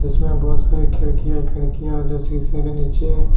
इसमें बहुत सारी खिड़कि हैं खिड़किया जो शीशे के नीचे--